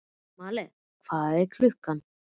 Malen, hvað er klukkan?